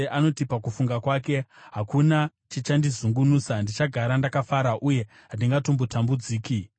Anoti pakufunga kwake, “Hakuna chichandizungunusa; ndichagara ndakafara uye handingatongotambudziki.”